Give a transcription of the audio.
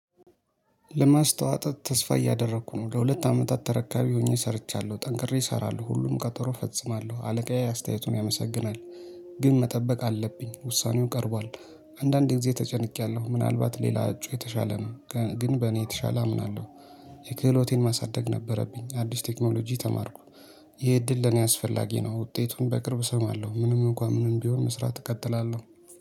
ለማስተዋል ተስፋ እያደረኩ ነው። ለሁለት አመታት ተረካቢ ሆኜ ሰርቻለሁ። ጠንክሬ እሰራለሁ፤ ሁሉም ቀጠሮ ፈጽማለሁ አለቃዬ አስተያየቱን ያመሰግናል። ግን መጠበቅ አለብኝ፤ ውሳኔው ቀርቧል። አንዳንዴ ጊዜ ተጨንቄያለሁ። ምናልባት ሌላ እጩ የተሻለ ነው ግን በእኔ የተሻለ አምናለሁ። የክህሎቴን ማሳደግ ነበረብኝ። አዲስ ቴክኖሎጂ ተማርኩ ይሄ እድል ለኔ አስፈላጊ ነው። ውጤቱን በቅርብ እሰማለሁ። ምንም እንኳን ምንም ቢሆን መስራት እቀጥላለሁ።